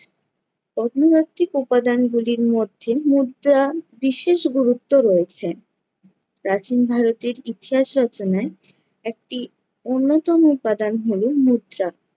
কর্মদ্বাতিক উপাদানগুলির মধ্যে মুদ্রার বিশেষ গুরুত্ব রয়েছে। প্রাচীন ভারতের ইতিহাস রচনায় একটি অন্যতম উপাদান হলো মুদ্রা।